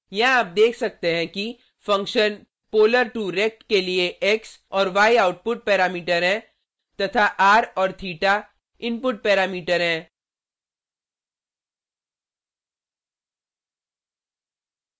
यहाँ आप देख सकते हैं कि फंक्शन polar2rect के लिए x और y आउटपुट पैरामीटर हैं तथा r और theta इनपुट पैरामीटर हैं